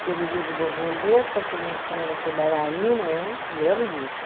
Que eu vivia de borboleta, que meu sonho era ser bailarina, eu não lembro disso.